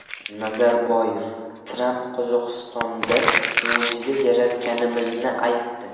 Nazarboyev: Tramp Qozog‘istonda mo‘jiza yaratganimizni aytdi.